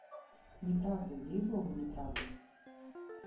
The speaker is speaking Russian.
неправда ей-богу неправда